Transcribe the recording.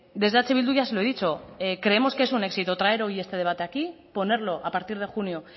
desde eh bildu ya se lo he dicho creemos que es un éxito traer hoy este debate aquí ponerlo a partir de junio